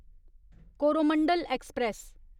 Coromandel express